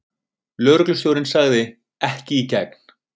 Lögreglustjórinn sagði: Ekki í gegn.